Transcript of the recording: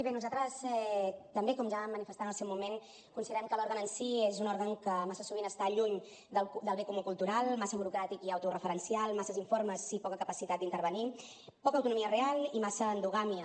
bé nosaltres també com ja vam manifestar en el seu moment considerem que l’òrgan en si és un òrgan que massa sovint està lluny del bé comú cultural massa burocràtic i autoreferencial amb masses informes i poca capacitat d’intervenir poca autonomia real i massa endogàmia